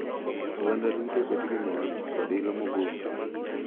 Oganda duto bet gi mor kod ilo mogundho.